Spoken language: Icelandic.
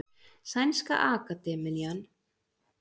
Sænska akademían úthlutar þeim.